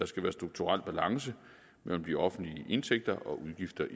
skal være strukturel balance mellem de offentlige indtægter og udgifter